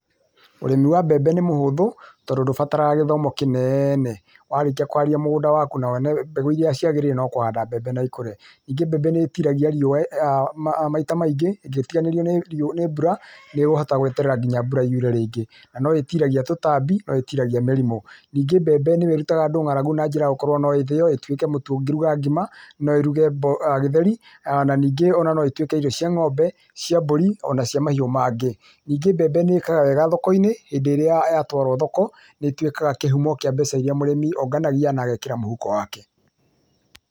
Ũrĩmi wa mbembe nĩ mũhũthũ, tondũ ndũbataraga gĩthomo kĩnene. Warĩkia kuharĩrĩa mũgũnda waku na wone mbegũ iria ciagĩrĩire no kũhanda na mbembe ikũre. Níingĩ mbembe nĩĩtiragia riũa maita maingĩ ĩngĩtiganĩrio nĩ mbura nĩkũhota gweterera nginya mbura yure rĩngĩ na no ĩtiragia tũtambi no ĩtiragia mĩrimũ. Ningĩ mbembe nĩyo ĩrutaga andũ ng'aragu nĩgũkorwo na njĩra ya gũkorwo no ĩthĩywo na ĩtuĩke mũtu ũngĩtuĩka ngima no ĩruge gĩtheri ona ningĩ no ĩtũĩke irio cia ng'ombe cia mbũri ona cia mahiũ mangĩ. Ningĩ mbembe nĩĩkaga wega thoko-inĩ, hĩndĩ ĩrĩa yatwarwo thoko nĩtũĩkaga kĩhumo kia mbeca iria mũrĩmi onganagia na agekĩra mũhuko wake.